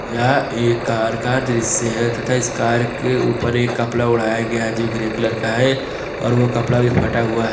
यह एक कार का दृश्य है तथा इस कार के ऊपर एक कपड़ा उड़ाया गया है जो ग्रे कलर का है और वो कपड़ा भी फटा हुआ है।